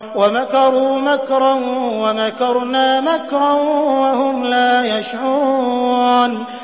وَمَكَرُوا مَكْرًا وَمَكَرْنَا مَكْرًا وَهُمْ لَا يَشْعُرُونَ